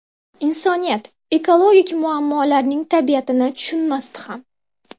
Insoniyat ekologik muammolarning tabiatini tushunmasdi ham.